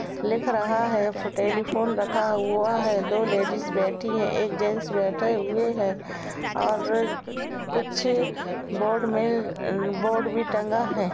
लिख रहा है। फुटेली फोन रखा हुआ है। दो लेडीज बैठी है। एक जेंट्स बैठे हुए है और कुछ बोर्ड में बोर्ड भी टंगा है।